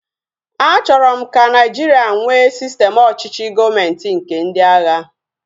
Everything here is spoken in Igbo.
A chọrọ m ka Nigeria nwee sistem ọchịchị gọọmenti nke ndị agha